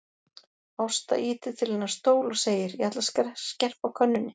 Ásta ýtir til hennar stól og segir: Ég ætla að skerpa á könnunni.